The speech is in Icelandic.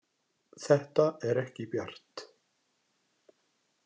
Þetta er ekki bjart.